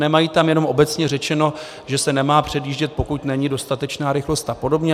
Nemají tam jenom obecně řečeno, že se nemá předjíždět, pokud není dostatečná rychlost a podobně.